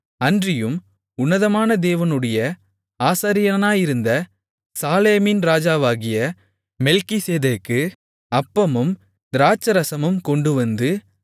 அன்றியும் உன்னதமான தேவனுடைய ஆசாரியனாயிருந்த சாலேமின் ராஜாவாகிய மெல்கிசேதேக்கு அப்பமும் திராட்சைரசமும் கொண்டுவந்து